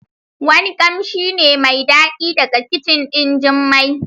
Wani kamshi ne mai dadi daga kicin din Jummai.